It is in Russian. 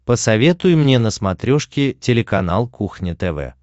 посоветуй мне на смотрешке телеканал кухня тв